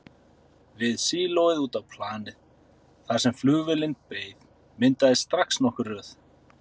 Við sílóið út á planið, þar sem flugvélin beið, myndaðist strax nokkur röð.